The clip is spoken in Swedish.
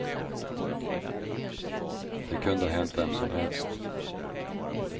Det kunde ha hänt vem som helst.